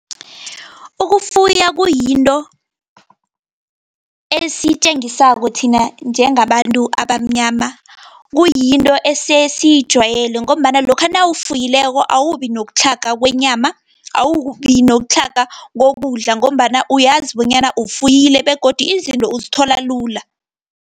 Ukufuya kuyinto esitjengisako thina njengabantu abamnyama, kuyinto esesiyijwayele, ngombana lokha nawufuyileko awubinokutlhaga kwenyama, awubi nokutlhaga kokudla, ngombana uyazi bonyana ufuyile, begodu izinto uzithola lula.